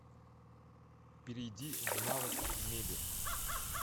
перейди в навык мебель